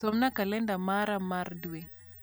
somna kalenda mara mar dwe